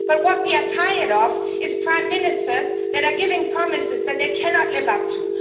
But what we are tired of is prime ministers that are giving promises that they cannot live up to.